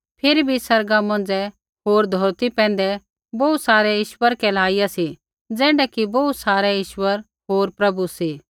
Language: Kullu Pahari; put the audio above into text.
फिरी भी आसमाना मौंझ़ै होर धौरती पैंधै बोहू सारै ईश्वर कहलाइया सी ज़ैण्ढै कि बोहू सारै ईश्वर होर प्रभु सी